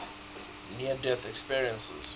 near death experiences